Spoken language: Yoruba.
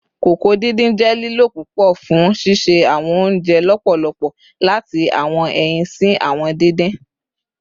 koko didin jẹ lilo pupọ fun sise awọn ounjẹ lọpọlọpọ, lati awọn ẹyin si awọn didin